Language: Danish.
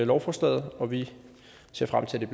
lovforslaget og vi ser frem til